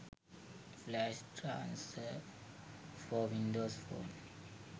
flash transfer for windows phone